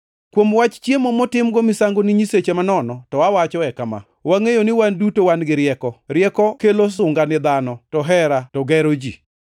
Kuom wach chiemo motimgo misango ni nyiseche manono to awachoe kama: Wangʼeyo ni wan duto wan gi rieko. Rieko kelo sunga ni dhano, to hera to gero ji.